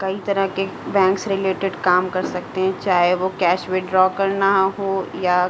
कई तरह के बैंक से रिलेटेड काम कर सकते हैं। चाहे वो कैश विथड्रा करना हो या --